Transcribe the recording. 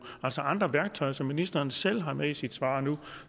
altså andre værktøjer som ministeren selv har med i sit svar nu